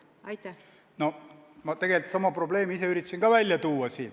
Ma tegelikult üritasin sama probleemi ise ka siin välja tuua.